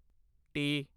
T